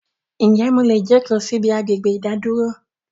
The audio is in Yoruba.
Ń jẹ́ mò lè jókò síí ibi agbègbè ìdádúró